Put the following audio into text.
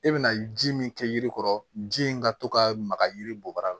E bɛna ji min kɛ yiri kɔrɔ ji in ka to ka maga yiri bɔ bara la